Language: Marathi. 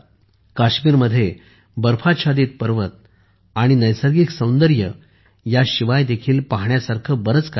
काश्मीरमध्ये बर्फ़ाच्छादित पर्वत आणि नैसर्गिक सौंदर्य ह्या शिवाय देखील पाहण्यासारखे बरेच काही आहे